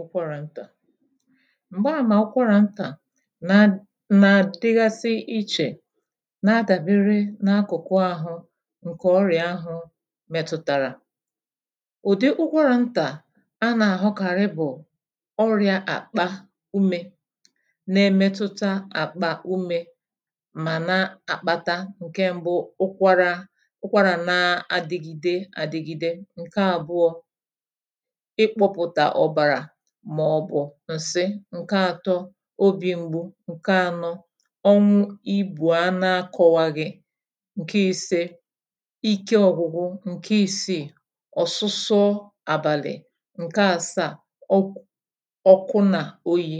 Ụkwarà ntà m̀gba àmà ụkwarà ntà na nà-àdịgasi ichè na-adàbere n’akụ̀kụ ahụ ǹkè ọrị̀à ahụ̄ mètùtàrà ụ̀dị ụkwarà ntà anà-àhụkàrị bụ̀ ọrị̄ā àkpà umē na emetuta àkpà umē mà na-àkpata ǹke mbụ ụkwarā ụkwarà na adịgide àdịgide ǹke àbụọ̄ ikpūpụ̀tà ọ̀bàrà màọ̀bụ̀ ǹsị ǹke atọ obī mgbu ǹke anọ ọnwụ ibù a na akọ̄waghị ǹke ise ike ọgwụgwụ ǹke isiì ọ̀sụsọ àbàlị̀ ǹke àsaà ọk ọkụ nà oyī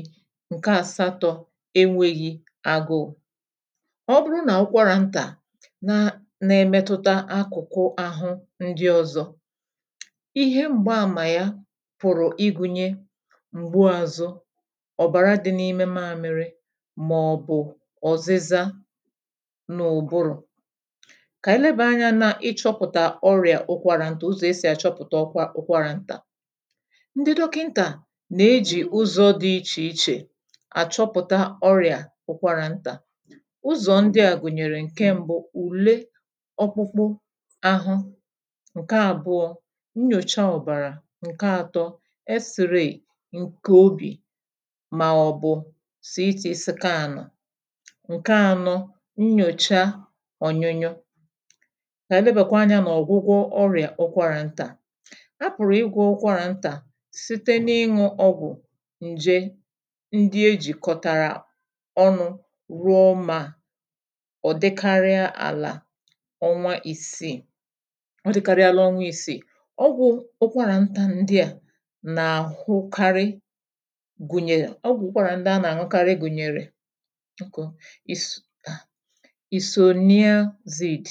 ǹke àsatọ̄ enwēghị agụụ̄ ọ bụrụ nà ụkwarà ntà na na-emetuta akụ̀kụ ahụ ndị ọzọ ihe m̀gba àmà ya pụ̀rụ̀ ịgụ̄nye m̀gbu azụ ọ̀bàra dị n’ime māmiri màọ̀bụ̀ ọ̀zịza n’ụ̀bụrụ kà ànyị lebàa anyā na ịchọ̄pụ̀tà ọrị̀à ụkwarà ntà ụzọ̀ esì àchọpụ̀ta ọkwa ụkwarà ntà ndị dọkịntà nà-ejì ụzọ̄ dị ichè ichè àchọpụ̀ta ọrị̀à ụkwarà ntà ụzọ ndị à gụ̀nyèrè ǹke mbụ ùle ọkpụkpụ ahụ ǹke àbụọ̄ nyòcha ọ̀bàrà ǹke atọ x-ray ǹkè obì màọ̀bụ̀ CT skanu ǹke anọ nyòcha ọ̀nyụnyụ kà ànyị lebàkwa anyā nà ọ̀gwụgwọ ọrị̀à ụkwarà ntà apụ̀rụ̀ ịgwọ̄ ụkwarà ntà site n’ịṅụ̄ ọgwụ̀ ǹje ndị ejìkọ̀tàrà ọnụ̄ rụọ mà ọ̀ dị karịa àlà ọnwa ìsiì ọ dị̄karịala ọnwa ìsiì ọgwụ̄ ụkwarà ntà ndị à nà-àhụkarị gụ̀nyèrè ọgwụ̀ ụkwarà ndị anà-àṅụkarị gụ̀nyère isoniazid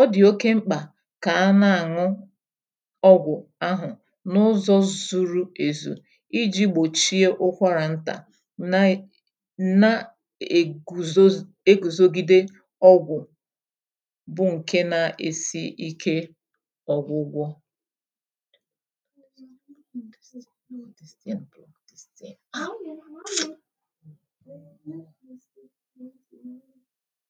ọ dì oke mkpà kà ana-àṅụ ọgwụ̀ ahụ̀ n’ụzọ̄ zuru èzù ijī gbòchi ụkwarà ntà na-e na-ègùzoz egùzogide ọgwụ̀ bụ ǹke na-esi ike ọ̀gwụgwọ